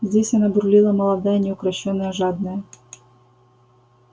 здесь она бурлила молодая неукрощённая жадная